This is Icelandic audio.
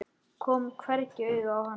Kom hvergi auga á hana.